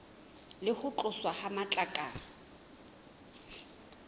le ho tloswa ha matlakala